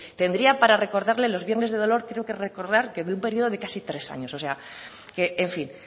tendría para recordarle los viernes de dolor creo que recordar que en un periodo de caso tres años o sea que en fin